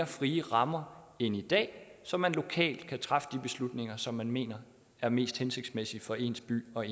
friere rammer end i dag så man lokalt kan træffe de beslutninger som man mener er mest hensigtsmæssige for ens by og